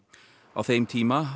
á þeim tíma